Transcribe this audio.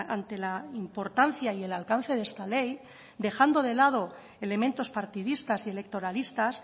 ante la importancia y el alcance de esta ley dejando de lado elementos partidistas y electoralistas